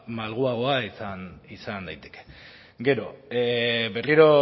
malguagoa izan daiteke gero berriro